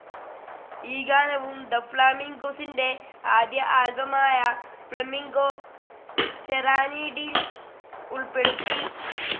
ഈ ഗാനവും തെ ഫ്ളാമിൻഗൊസിന്റെ ആദ്യ ആൽബമായ ഫ്ലാമിംഗോ സെറാനീഡിൽ ഉൾപ്പെടുത്തി.